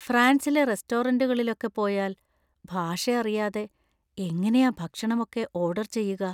ഫ്രാൻസിലെ റെസ്റ്റോറന്റുകളിലൊക്കെ പോയാൽ ഭാഷ അറിയാതെ എങ്ങനെയാ ഭക്ഷണം ഒക്കെ ഓർഡർ ചെയ്യുക?